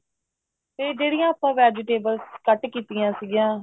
ਇਹ ਜਿਹੜੀਆਂ ਆਪਾਂ vegetables cut ਕੀਤੀਆਂ ਸੀਗੀਆਂ